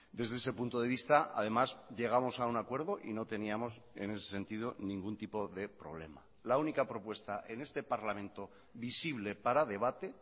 desde ese punto de vista además llegamos a un acuerdo y no teníamos en ese sentido ningún tipo de problema la única propuesta en este parlamento visible para debate